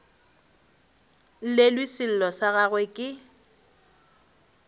llelwe sello sa gagwe ke